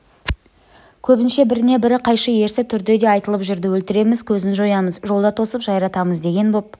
көбінше біріне-бірі қайшы ерсі түрде де айтылып жүрді өлтіреміз көзін жоямыз жолда тосып жайратамыз деген боп